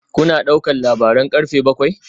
Kuna ɗaukar labaran karfe bakwai?